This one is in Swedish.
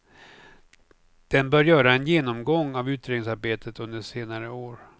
Den bör göra en genomgång av utredningsarbetet under senare år.